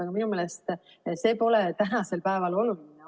Aga minu meelest see pole tänasel päeval oluline.